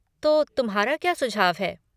तो तुम्हारा क्या सुझाव है?